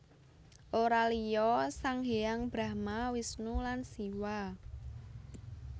Ora liya sang hyang Brahma Wisnu lan Siwah